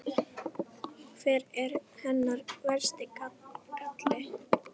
Hver er hennar versti galli?